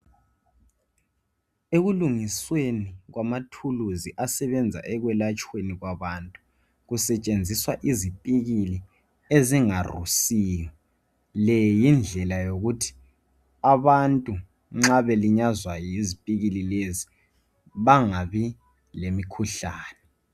Ekulungisweni kwamathulusi asebenza ekwelatshweni kwabantu kusetshenziswa izipikili ezingarusiyo. Le yindlela yokuthi abantu nxa belinyazwa yizipikili lezi bangabi lemikhuhlane